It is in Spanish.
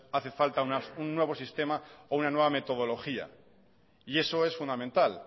hace falta un nuevo sistema o una nueva metodología y eso es fundamental